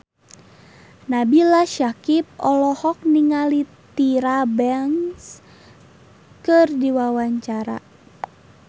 Nabila Syakieb olohok ningali Tyra Banks keur diwawancara